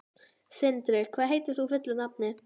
Sindri, hvað heitir þú fullu nafni?